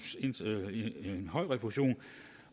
høj refusion